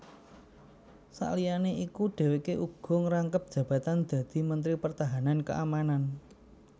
Saliyané iku dhèwèké uga ngrangkep jabatan dadi dadi Mentri Pertahanan Keamanan